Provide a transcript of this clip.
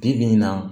Bi bi in na